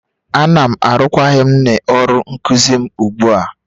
Ana m arụkwaghịm n'ọrụ nkuzi m ugbu a